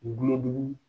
Gulɔ jugu